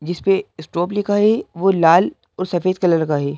जिस पे इस्टॉप लिखा है वो लाल और सफेद कलर का है।